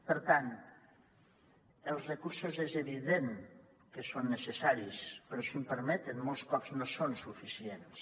per tant els recursos és evident que són necessaris però si em permeten molts cops no són suficients